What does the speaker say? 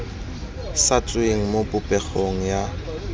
sa tsweng mo popegong ya